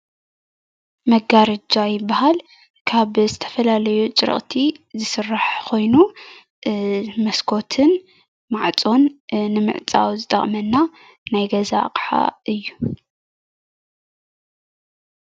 መጋረጃ ይበሃል:: ካብ ዝተፈላለዩ አጭረቅቲ ዝስራሕ ኮይኑ ሞስኮትን ማዕፆን ንምዕፃው ዝጠቅመና ናይ ገዛ አቅሓ እዩ።